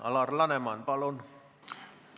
Alar Laneman, palun!